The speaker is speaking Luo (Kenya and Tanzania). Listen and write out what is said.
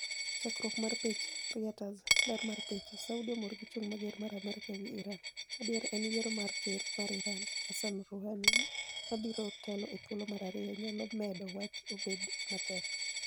Chakruok mar picha, Reuters. Ler mar picha, Saudia omor gi chung' mager mar Amerka e wi Iran. Adieri en ni yiero mar ker mar Iran, Hassan Rouhani, mabiro telo e thuolo mar ariyo nyalo medo wach obed matek.